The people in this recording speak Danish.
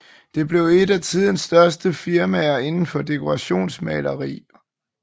Det blev et af tidens største firmaer inden for dekorationsmaleri